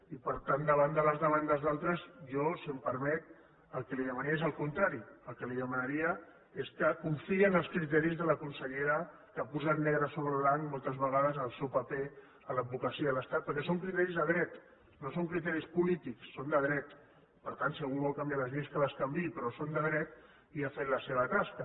i per tant davant de les demandes d’altres jo si m’ho permet el que li demanaria és el contrari el que li demanaria és que confiï en els criteris de la consellera que ha posat negre sobre blanc moltes vegades en el seu paper a l’advocacia de l’estat perquè són criteris de dret no són criteris polítics són de dret per tant si algú vol canviar les lleis que les canviï però són de dret i ha fet la seva tasca